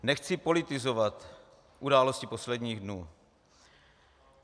Nechci politizovat události posledních dnů.